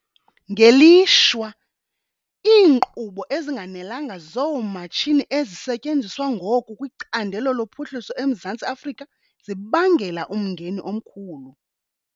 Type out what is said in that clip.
Ngelishwa, iinkqubo ezinganelanga zoomatshini ezisetyenziswa ngoku kwicandelo lophuhliso eMzantsi Afrika zibangela umngeni omkhulu.